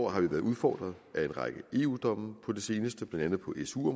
har vi været udfordret af en række eu domme på det seneste blandt andet på su